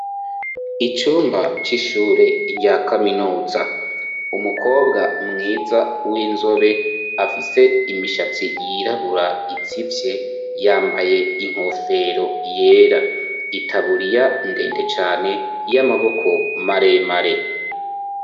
Icumba c'ishure rya kaminuza, umukobwa mwiza w'inzobe afise imishatsi yirabura itsivye yambaye inkofero yera itaburiya ndende cane y'amaboko maremare.